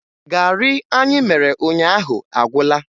Garị anyị mere ụnyaahụ agwụla